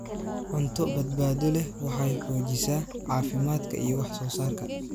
Cunto badbaado leh waxay xoojisaa caafimaadka iyo wax soo saarka.